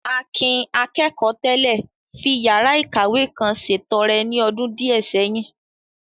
Akin, akẹ́kọ̀ọ́ tẹ́lẹ̀, fi yàrá ìkàwé kan ṣètọrẹ ní ọdún díẹ̀ sẹ́yìn.